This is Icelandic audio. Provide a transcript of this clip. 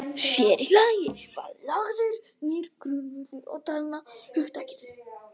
Sér í lagi var lagður nýr grundvöllur að talnahugtakinu.